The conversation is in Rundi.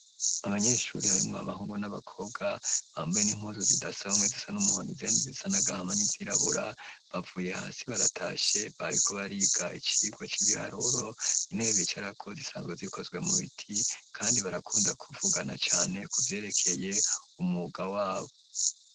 Abanyeshuri harimwo amahungu n'abakobwa, bambaye n'impuzu zidasa, bamwe zisa n'umuhondo, izindi zisa n'agahama n'izirabura, bavuye hasi baratashe, bariko bariga icigwa c'ibiharuro; intebe bicarako zisanzwe zikozwe mu biti, kandi barakunda kuvugana cane kuvyerekeye umwuga wabo.